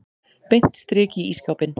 Beint strik í ísskápinn.